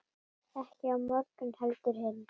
Ekki á morgun heldur hinn.